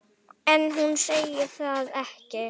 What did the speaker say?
En hún segir það ekki.